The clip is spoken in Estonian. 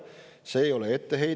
See ei ole etteheide.